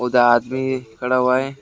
दा आदमी खड़ा हुआ है।